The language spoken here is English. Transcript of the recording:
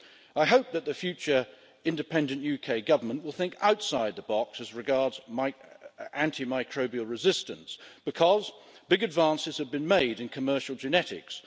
I hope that the future independent UK government will think outside the box as regards antimicrobial resistance, because big advances have been made in commercial genetics.